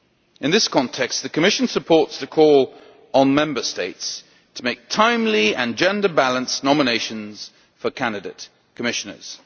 In this context, the Commission supports the call on Member States to make timely and gender balanced nominations for candidate Commissioners.